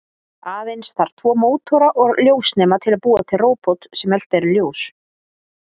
Aðeins þarf tvo mótora og ljósnema til að búa til róbot sem eltir ljós.